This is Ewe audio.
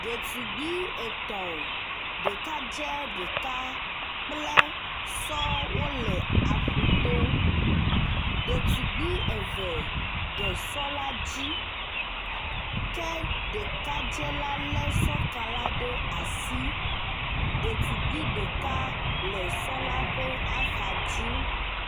Ɖetugbui etɔ̃ ɖekadze ɖeka kple sɔ wole aƒuto, Ɖetugbui eve de sɔ la dzi ke ɖekadze la le sɔ ka la ɖe asi. Ɖetugbui ɖeka le sɔ la ƒe axa dzi.